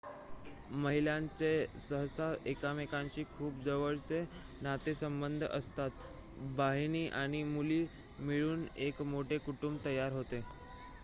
महिलांचे सहसा एकमेकांशी खूप जवळचे नातेसंबंध असतात बहिणी आणि मुली मिळून एक मोठे कुटुंब तयार होते